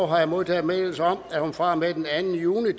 har jeg modtaget meddelelse om at hun fra og med den anden juni